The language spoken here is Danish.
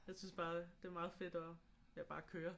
Jeg synes bare det er meget fedt at ja bare køre